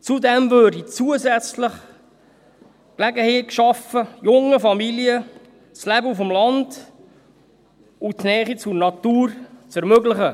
Zudem würde zusätzlich die Gelegenheit geschaffen, jungen Familien das Leben auf dem Land und die Nähe zur Natur zu ermöglichen.